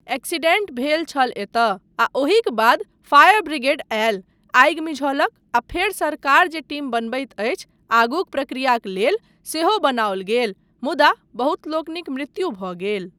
Accident भेल छल एतय आ ओहिक बाद फायर ब्रिगेड आयल, आगि मिझौलक आ फेर सरकार जे टीम बनबैत अछि आगूक प्रक्रियाक लेल सेहो बनाओल गेल मुदा बहुत लोकनिक मृत्यु भऽ गेल।